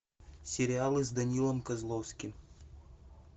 сериалы с данилом козловским